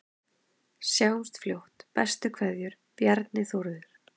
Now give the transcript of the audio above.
Sjáumst fljótt, bestu kveðjur: Bjarni Þórður